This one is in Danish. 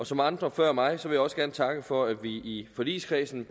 som andre før mig vil jeg også gerne takke for at vi i forligskredsen